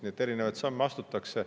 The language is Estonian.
Nii et erinevaid samme astutakse.